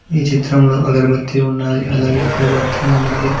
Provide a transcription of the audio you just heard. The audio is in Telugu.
ఈ చిత్రంలో అగర్భతి ఉన్నాది అలాగే కొవ్వతి ఉన్నాది.